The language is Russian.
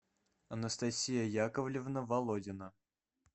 анастасия яковлевна володина